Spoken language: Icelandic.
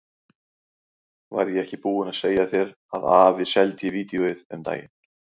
Var ég ekki búinn að segja þér að afi seldi vídeóið um daginn?